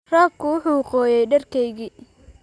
Roobku wuxuu qooyay dharkaygii